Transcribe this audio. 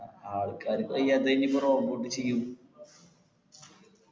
ആൾക്കാര് പ്പോ എന്ത് ഇനിയിപ്പോ robot ചെയ്യും